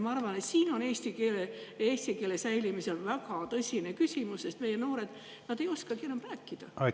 Ma arvan, et see on eesti keele säilimise väga tõsine küsimus, sest meie noored ei oskagi enam rääkida.